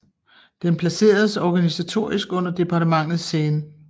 Den placeredes organisatorisk under departementet Seine